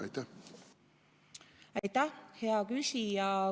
Aitäh, hea küsija!